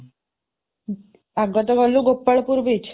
ଆଗ ତ ଗଲୁ ଗୋପାଳପୁର beach